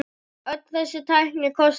Öll þessi tækni kostar sitt.